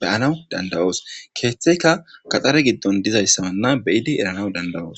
beyanawu dandawoos keeththeyka kaxxare giddon dizayssawanna beyidi erana danda7oos